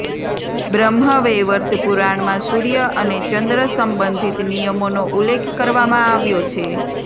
બ્રહ્મવૈવર્ત પુરાણમાં સૂર્ય અને ચંદ્ર સંબંધિત નિયમોનો ઉલ્લેખ કરવામાં આવ્યો છે